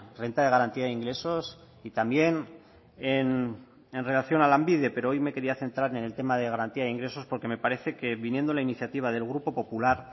renta de garantía de ingresos y también en relación a lanbide pero hoy me quería centrar en el tema de garantía de ingresos porque me parece que viniendo la iniciativa del grupo popular